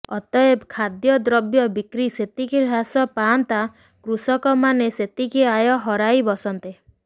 ଅତଏବ ଖାଦ୍ୟ ଦ୍ରବ୍ୟ ବିକ୍ରି ସେତିିକି ହ୍ରାସ ପାଆନ୍ତା କୃଷକମାେନ ସେତିିକି ଆୟ ହରାଇ ବସନ୍ତେ